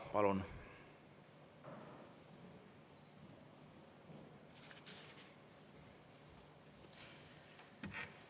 Palun!